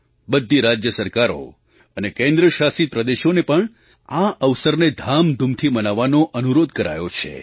બધી રાજ્ય સરકારો અને કેન્દ્ર શાસિત પ્રદેશોને પણ આ અવસરને ધામધૂમથી મનાવવાનો અનુરોધ કરાયો છે